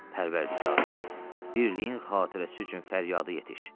Pərvərdigara, birliyin xatirəsi üçün fəryadı yetiş.